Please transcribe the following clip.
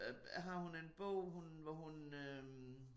Øh har hun en bog hun hvor hun øh